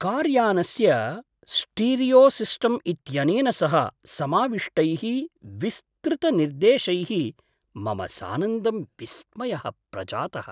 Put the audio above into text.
Car यानस्य स्टीरियोसिस्टम् इत्यनेन सह समाविष्टैः विस्तृतनिर्देशैः मम सानन्दं विस्मयः प्रजातः।